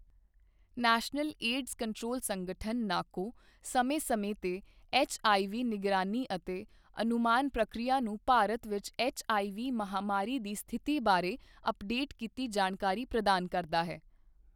National AIDS control ਸੰਗਠਨ NACO, ਸਮੇਂ ਸਮੇਂ ਤੇ ਐਚਆਈਵੀ ਨਿਗਰਾਨੀ ਅਤੇ ਅਨੁਮਾਨ ਪ੍ਰਕਿਰਿਆ ਨੂੰ ਭਾਰਤ ਵਿੱਚ ਐਚਆਈਵੀ ਮਹਾਂਮਾਰੀ ਦੀ ਸਥਿਤੀ ਬਾਰੇ ਅਪਡੇਟ ਕੀਤੀ ਜਾਣਕਾਰੀ ਪ੍ਰਦਾਨ ਕਰਦਾ ਹੈ।